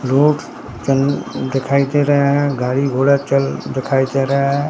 Road चन दिखाई दे रहा है गाड़ी घोड़ा चल दिखाई दे रहा है।